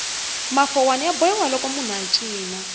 mafowani ya bohiwa loko munhu a cina